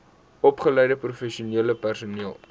opgeleide professionele personeel